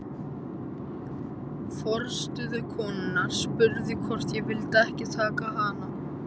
Forstöðukonan spurði hvort ég vildi ekki taka hana.